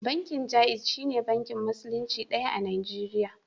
Bankin Jaiz shine bankin Musulunci ɗaya a Najeriya.